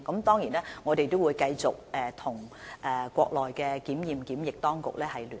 當然，我們仍會繼續與內地檢驗檢疫部門保持聯絡。